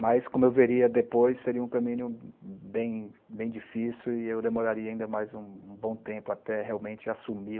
Mas, como eu veria depois, seria um caminho bem bem difícil e eu demoraria ainda mais um um bom tempo até realmente assumir